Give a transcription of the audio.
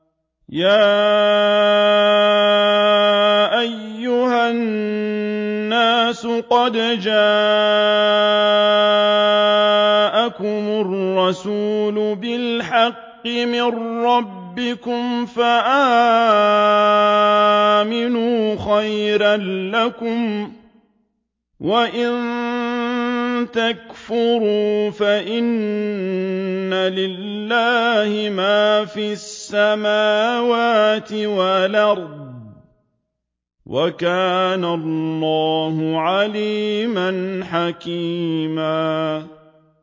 يَا أَيُّهَا النَّاسُ قَدْ جَاءَكُمُ الرَّسُولُ بِالْحَقِّ مِن رَّبِّكُمْ فَآمِنُوا خَيْرًا لَّكُمْ ۚ وَإِن تَكْفُرُوا فَإِنَّ لِلَّهِ مَا فِي السَّمَاوَاتِ وَالْأَرْضِ ۚ وَكَانَ اللَّهُ عَلِيمًا حَكِيمًا